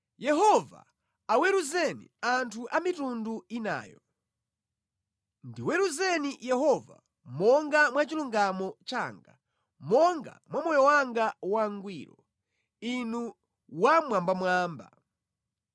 Yehova aweruzeni anthu a mitundu inayo. Ndiweruzeni Yehova, monga mwa chilungamo changa, monga mwa moyo wanga wangwiro, Inu Wammwambamwamba.